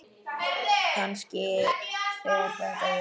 Og kannski er þetta ég.